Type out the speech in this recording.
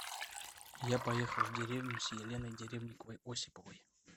я поехал в деревню с еленой деревниковой осиповой